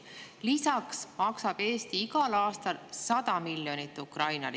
Lisaks maksab Eesti igal aastal Ukrainale 100 miljonit.